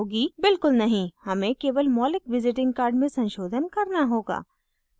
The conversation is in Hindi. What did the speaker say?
बिल्कुल नहीं हमें केवल मौलिक visiting card में संशोधन करना होगा